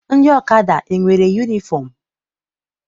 Ndị ọkada enwere yunifọm?